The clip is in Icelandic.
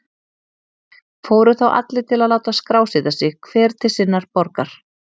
Fóru þá allir til að láta skrásetja sig, hver til sinnar borgar.